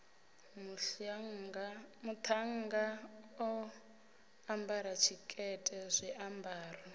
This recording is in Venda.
muṱhannga o ambara tshikete zwiambaro